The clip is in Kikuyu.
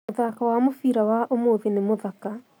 Mũthako wa mũbira wa ũmũthĩ nĩ mũthaka